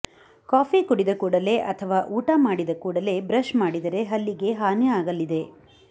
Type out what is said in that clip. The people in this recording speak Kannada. ಕಾಫಿ ಕುಡಿದ ಕೂಡಲೇ ಅಥವಾ ಊಟ ಮಾಡಿದ ಕೂಡಲೇ ಬ್ರಶ್ ಮಾಡಿದರೆ ಹಲ್ಲಿಗೆ ಹಾನಿಯಾಗಲಿದೆ